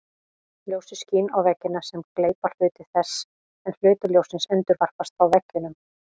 Ljósið skín á veggina sem gleypa hluta þess en hluti ljóssins endurvarpast frá veggjunum.